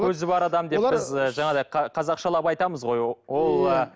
көзі бар адам деп біз ы жаңағыдай қазақшалап айтамыз ғой ол ы